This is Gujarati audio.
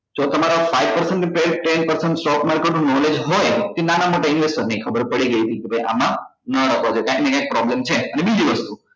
જો તમારા five percent ની ten percent stock market નું knowledge હોય કે નાના મોટા investor એ ખબર પડી ગઈ હતી કે ભાઈ આમાં નાં રોકવા જોઈએ કાઈક ને કાઈક problem છે અને બીજી વસ્તુ